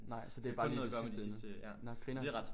Nej så det er bare lige det sidste nåh grineren